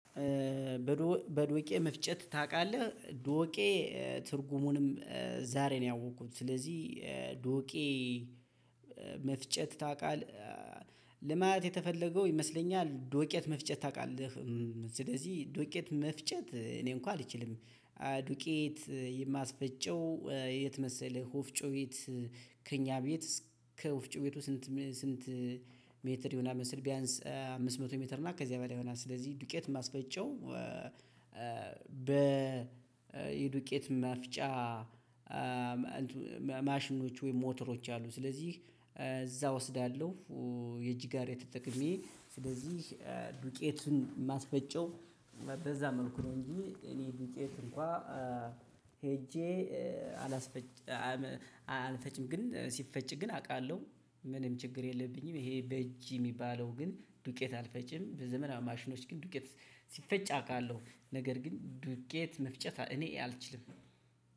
በዶቄ መፍጨት ታውቃለህ ዶቄ ትርጉሙንም ዛሬ ነው ያወቅኩት ስለዚህ ዶቄ መፍጨት ታውቃለህ ለማለት የተፈለገው ይመስለኛል። ዱቄት መፍጨት ታውቃለህ ስለዚህ ዱቄት መፍጨት እኔ እንኳን አልችልም። ዱቄት የማስፈጨው የት መሰለህ ወፍጮ ቤት ከእኛ ቤት እስከ ወፍጮ ቤቱ ስንት ስንት ሜትር የሆነ መሰል? ቢያንስ አምስት መቶ ሜትር እና ከዚያ በላይ ይሆናል። ስለዚህ ዱቄት የማስፈጨው በ የዱቄት መፍጫ ማሽኖች ወይም ሞተሮች አሉ ስለዚህ እዛ እወስዳለሁ። የእጅ ጋር ተጠቀሜ ስለዚህ ዱቄቱን ማስፈጨው በዛ መልኩ ነው። እንጂ እኔ ዱቄት እንኳን ሄጄ አላስፈጭ አልፈጭም። ግን ሲፈጭ ግን አውቃለሁ ምንም ችግር የለብኝም። ይሄ በእጅ የሚባለው ግን ዱቄት አልፈጪም በዘመናዊ ማሽኖች ግን ዱቄት ሲፈጭ አውቃለሁ። ነገር ግን ዱቄት መፍጨት እኔ አልችልም።